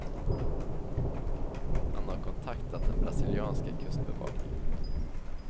Han har kontaktat den brasilianska kustbevakningen.